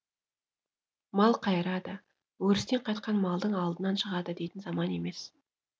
мал қайырады өрістен қайтқан малдың алдынан шығады дейтін заман емес